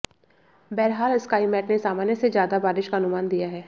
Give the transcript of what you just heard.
बैरहाल Skymet ने सामान्य से ज्यादा बारिश का अनुमान दिया है